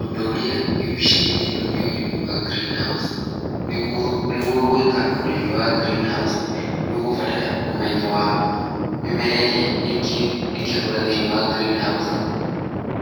Ũndũ ũrĩa wĩ mbicainĩ ĩno nĩ ũrĩmi wa green house. Nĩguo gwĩka ũrĩmĩ wa green house nĩ ũgũbatara ũmenyo wa mĩmera ĩrĩa ĩngĩkũra thĩinĩ wa [ green house,